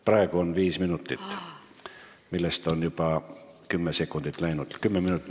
Praegu on teil aega viis minutit, millest on juba kümme sekundit läinud.